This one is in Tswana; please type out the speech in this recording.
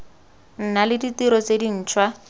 nna le ditiro tse dintšhwa